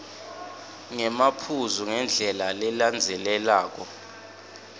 ngemaphuzu ngendlela lelandzelelako